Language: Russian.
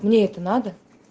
мне это надо